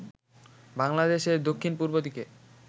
বাংলাদেশের দক্ষিণ-পূর্ব দিকে